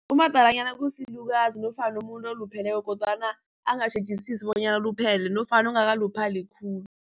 Umadalanyana kusilukazi nofana umuntu olupheleko kodwana angatjhejisisi bonyana uluphele nofana ongakaluphali khulu.